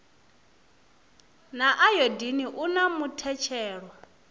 na ayodini u na muthetshelo